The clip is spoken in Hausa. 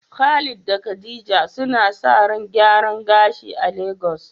Khalid da khadija suna sa ran gyaran gashi a Lagos